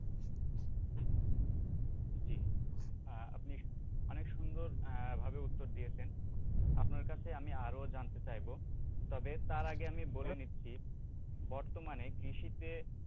আপনি অনেক সুন্দরভাবে উত্তর দিয়েছেন, আপনার কাছে আমি আরও জানতে চাইবো তবে তার আগে আমি বলে নিচ্ছি বর্তমানে কৃষিতে,